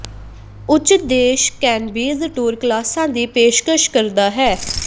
ਉੱਚ ਦੇਸ਼ cannabis tour ਕਲਾਸਾਂ ਦੀ ਪੇਸ਼ਕਸ਼ ਕਰਦਾ ਹੈ